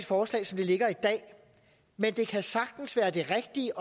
forslag som det ligger i dag men det kan sagtens være det rigtige